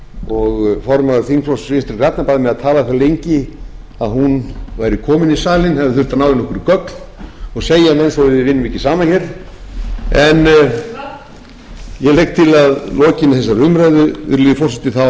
og formaður þingflokks vinstri grænna bað mig að tala það lengi að hún væri komin í salinn hefði þurft að ná í okkur göng og segi menn svo að við vinnum ekki saman hér ég legg til að að lokinni þessari